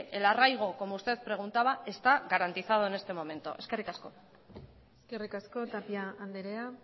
el arraiga como usted preguntaba está garantizado en este momento eskerrik asko eskerrik asko tapia andrea